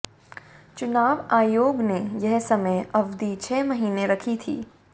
चुनाव आयोग ने यह समय अवधि छह महीने रखी थी